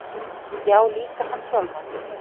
Já, líka hann sjálfan.